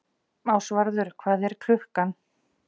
Ásvarður, hvað er klukkan?